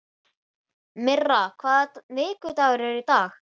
Myrra, hvaða vikudagur er í dag?